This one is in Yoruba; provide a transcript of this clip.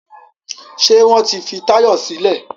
Ṣé wọ́n ti fi Táyọ̀ sílẹ̀?